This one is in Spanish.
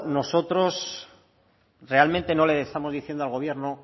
nosotros realmente no le estamos diciendo al gobierno